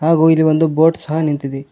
ಹಾಗೂ ಇಲ್ಲಿ ಒಂದು ಬೋಟ್ ಸಹ ನಿಂತಿದೆ.